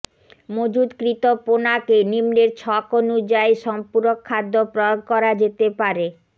মজুদকৃত পোনাকে নিম্নের ছক অনুযায়ী সম্পূরক খাদ্য প্রয়োগ করা যেতে পারেঃ